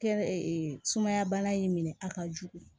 Kɛ sumaya bana in minɛ a ka jugu